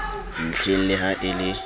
ntlheng le ha e le